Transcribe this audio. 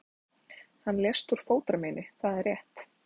Hann lést úr fótarmeini, það er rétt.